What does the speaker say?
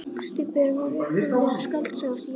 Stubburinn var upphaflega skáldsaga eftir Jóhann